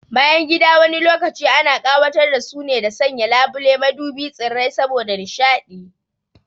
Bayangida wani lokaci ana ƙawatar da su ne da sanya labule, madubi, tsirrai saboda nishaɗi